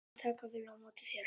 Hún mun taka vel á móti þér.